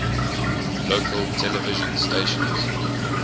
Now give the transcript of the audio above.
local television stations